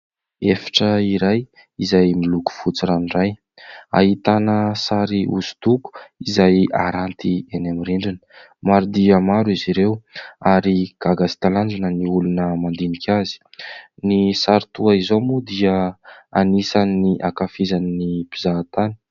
Efitra iray izay miloko fotsy ranoray. Ahitana sary hosodoko izay haranty eny amin'ny rindrina. Maro dia maro izy ireo ary gaga sy talanjona ny olona mandinika azy. Ny sary toy izao moa dia anisan'ny hankafizin'ny mpizahantany.